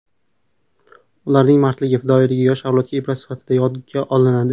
Ularning mardligi, fidoyiligi yosh avlodga ibrat sifatida yodga olinadi.